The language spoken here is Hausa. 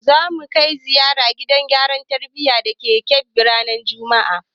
Za mu kai ziyara gidan gyara tarbiyya da ke Kebbi ranar juma'a.